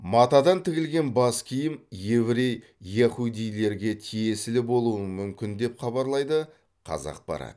матадан тігілген бас киім еврей яхудилерге тиесілі болуы мүмкін деп хабарлайды қазақпарат